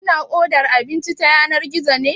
Kina odar abinci ta yanar gizo ne?